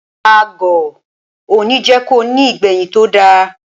Agọ̀ òní jẹ́ ko ní ìgbẹ̀yìn tó da.